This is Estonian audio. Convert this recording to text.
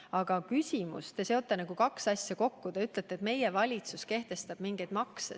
Aga oma küsimuses te nagu seote kaks asja kokku ja ütlete, et meie valitsus kehtestab mingeid makse.